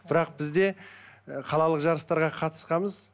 бірақ біз де ы қалалық жарыстарға қатысқанбыз